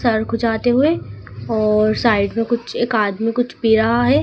Sir खुजाते हुए और साइड में कुछ एक आदमी कुछ पी रहा है।